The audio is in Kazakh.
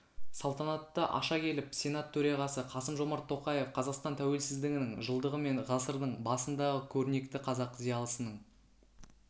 салтанатты аша келіп сенат төрағасы қасым-жомарт тоқаев қазақстан тәуелсіздігінің жылдығы мен ғасырдың басындағы көрнекті қазақ зиялысының